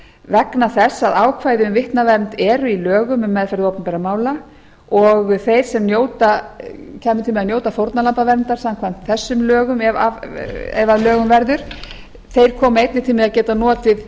vegna þess að ákvæði um vitnavernd eru í lögum um meðferð opinberra mála og þeir sem kæmu til með að njóta fórnarlambaverndar samkvæmt þessum lögum ef að lögum verður koma einnig til með að geta notið